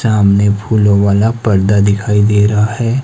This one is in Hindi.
सामने फूलों वाला पर्दा दिखाई दे रहा है।